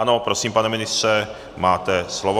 Ano, prosím, pane ministře, máte slovo.